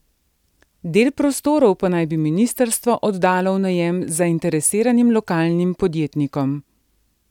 Del prostorov pa naj bi ministrstvo oddalo v najem zainteresiranim lokalnim podjetnikom.